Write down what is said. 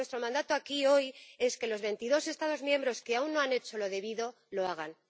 Y nuestro mandato aquí hoy es que los veintidós Estados miembros que aún no han hecho lo debido lo hagan.